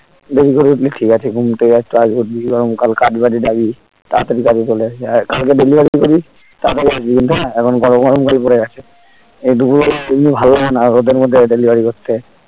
দেরি করে উঠলি ঠিক আছে ঘুম থেকে একটু আগে উঠবি গরম কাল কাজ বাজে যাবি তাড়াতাড়ি কাজে চলে আসবি কালকে delivery তে করবি টাকা বাছবি না এখন তো গরম কাল পরে গেছে এই দুপুর বেলা এমনি ভাল লাগেনা রোদের মধ্যে delivery করতে